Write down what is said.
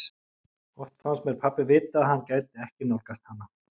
Oft fannst mér pabbi vita að hann gæti ekki nálgast hana.